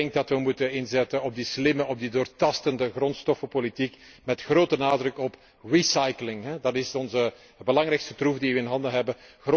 Ik denk dat we moeten inzetten op die slimme, op die doortastende grondstoffenpolitiek, met grote nadruk op recycling. Dat is de belangrijkste troef die we in handen hebben.